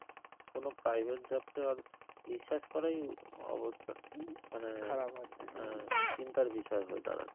কোনো private job তো আর বিশ্বাস করাই অবস্থা মানে হ্যাঁ চিন্তার বিষয় হয়ে দাঁড়াচ্ছে